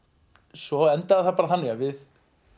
svo endaði þetta þannig að við